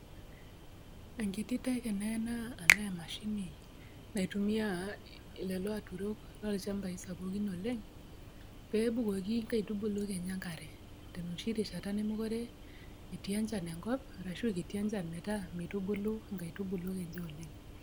Ankiti teke teena tanaa emashini ,naitumia lolo aturok tolchambai sapukin oleng peebukoki nkaitubulu enye enkare tenoshi rishata nemekite etii enchan enkop arashu a kiti enchan ometaa meitubulu nkaitubulu enye oleng.